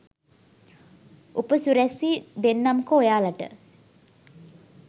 උපසිරැසි දෙන්නම්කෝ ඔයාලට